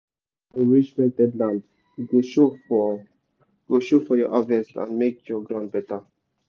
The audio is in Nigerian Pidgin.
you fit enrich rented land e go show for go show for your harvest and make the ground better.